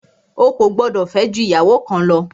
O kò gbọdọ̀ fẹ́ jù ìyàwó kan lọ!